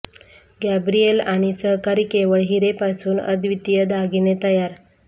Gabriel आणि सहकारी केवळ हिरे पासून अद्वितीय दागिने तयार